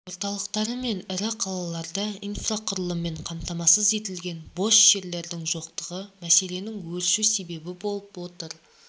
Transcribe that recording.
орталықтары мен ірі қалаларда инфрақұрылыммен қамтамасыз етілген бос жерлердің жоқтығы мәселесінің өршуі себеп болып отыр